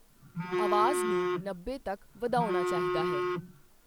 ਆਵਾਜ਼ ਨੂੰ ਨੱਬੇ ਤੱਕ ਵਧਾਉਣਾ ਚਾਹੀਦਾ ਹੈ।